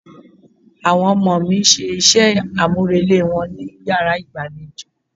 Àwọn ọmọ mi ń ṣe iṣẹ́ àmúrelé wọn ní yàrá ìgbàlejò.